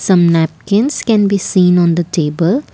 some napkins can be seen on the table.